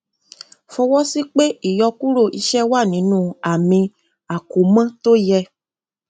fọwọsí pé ìyọkúrò iṣẹ wà nínú àmì àkómọ tó yẹ